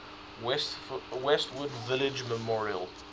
westwood village memorial